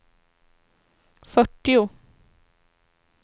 fyrtio